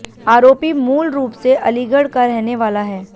आरोपी मूलरूप से अलीगढ़ का रहने वाला है